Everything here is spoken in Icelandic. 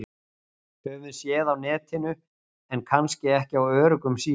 Höfum séð á Netinu- en kannski ekki á öruggum síðum.